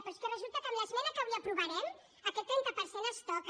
però és que resulta que amb l’esmena que avui aprovarem aquest trenta per cent es toca